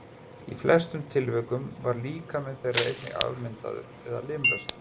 Í flestum tilvikum var líkami þeirra einnig afmyndaður eða limlestur.